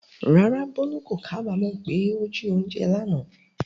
Rárá, Bolu kò kábàámọ̀ pé ó jí oúnjẹ lánàá.